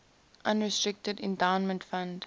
unrestricted endowment fund